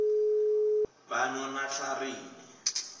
banonatlharini